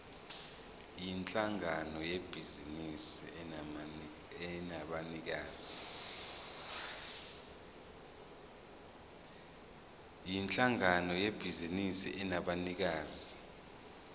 yinhlangano yebhizinisi enabanikazi